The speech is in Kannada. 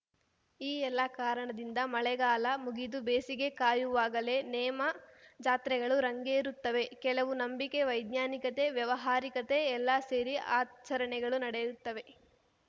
ಈ ಎಲ್ಲಾ ಕಾರಣದಿಂದ ಮಳೆಗಾಲ ಮುಗಿದು ಬೇಸಿಗೆ ಕಾಯುವಾಗಲೇ ನೇಮ ಜಾತ್ರೆಗಳು ರಂಗೇರುತ್ತವೆ ಕೆಲವು ನಂಬಿಕೆ ವೈಜ್ಞಾನಿಕತೆ ವ್ಯಾವಹಾರಿಕತೆ ಎಲ್ಲ ಸೇರಿ ಆಚರಣೆಗಳು ನಡೆಯುತ್ತವೆ